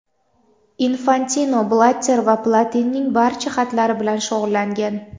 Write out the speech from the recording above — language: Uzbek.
Infantino Blatter va Platinining barcha xatlari bilan shug‘ullangan.